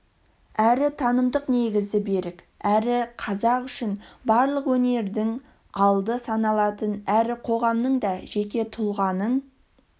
әрі танымдық негізі берік әрі қазақ үшін барлық өнердің алды саналатын әрі қоғамның да жеке тұлғаның